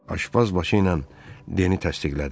Aşpaz başı ilə Deni təsdiqlədi.